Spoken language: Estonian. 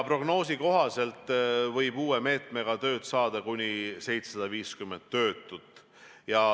Prognoosi kohaselt võib uue meetme abil tööd saada kuni 750 töötut.